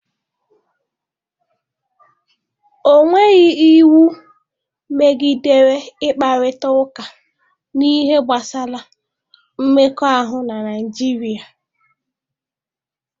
Ọ nweghị iwu megidere ịkparịta ụka n'ihe gbasara mmekọahụ na Naịjirịa?